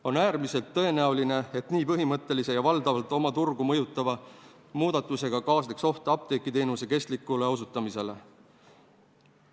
On äärmiselt tõenäoline, et nii põhimõttelise ja valdavat osa turgu mõjutava muutusega kaasneks oht apteegiteenuse kestlikule osutamisele.